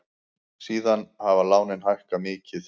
Síðan hafa lánin hækkað mikið.